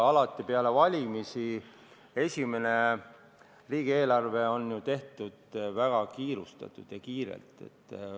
Alati on esimene riigieelarve peale valimisi tehtud ju väga kiirustades.